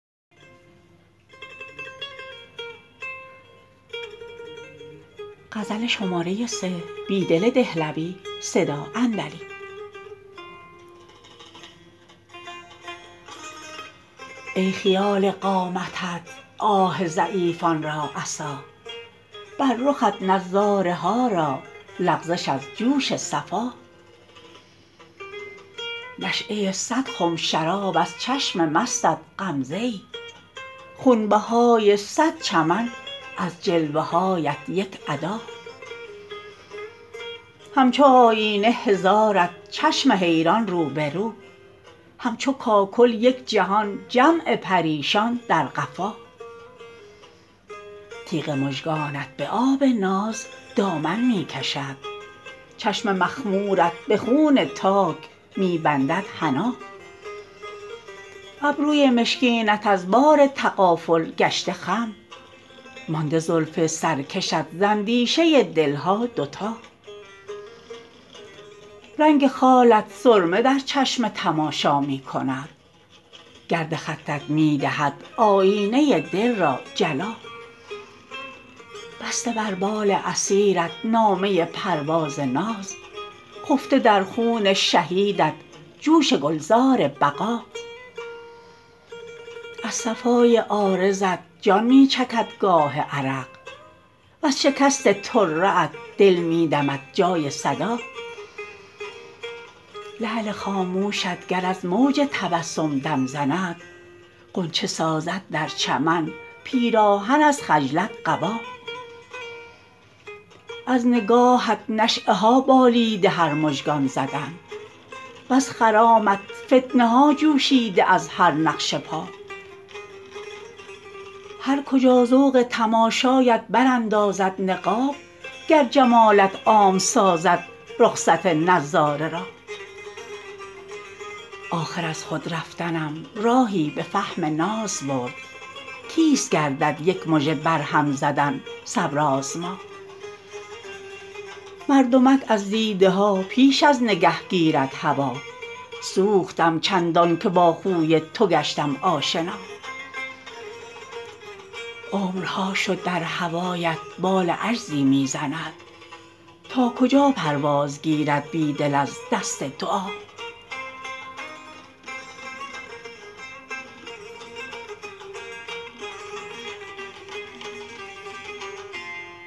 ای خیال قامتت آه ضعیفان را عصا بر رخت نظاره ها را لغزش از جوش صفا نشیه صدخم شراب از چشم مستت غمزه ای خونبهای صدچمن از جلوه هایت یک ادا همچو آیینه هزارت چشم حیران روبه رو همچو کاکل یک جهان جمع پریشان در قفا تیغ مژگانت به آب ناز دامن می کشد چشم مخمورت به خون تاک می بنددحنا ابروی مشکینت از بار تغافل گشته خم مانده زلف سرکشت ز اندیشه دلها دوتا رنگ خالت سرمه در چشم تماشا می کند گرد خطت می دهد آیینه دل را جلا بسته بر بال اسیرت نامه پرواز ناز خفته در خون شهیدت جوش گلزار بقا از صفای عارضت جان می چکد گاه عرق وز شکست طره ات دل می دمد جای صدا لعل خاموشت گر از موج تبسم دم زند غنچه سازد در چمن پیراهن از خجلت قبا از نگاهت نشیه ها بالیده هر مژگان زدن وز خرامت فتنه ها جوشیده از هر نقش پا هرکجا ذوق تماشایت براندازد نقاب کیست گردد یک مژه برهم زدن صبرآزما گر جمالت عام سازد رخصت نظاره را مردمک از دیده ها پیش از نگه گیرد هوا آخر ازخودرفتنم راهی به فهم ناز برد سوختم چندانکه با خوی توگشتم آشنا عمرها شد در هوایت بال عجزی می زند تا کجا پروازگیرد بیدل از دست دعا